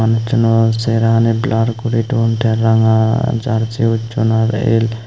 manujsuno cherani blur guri don te ranga jersey usson aro el.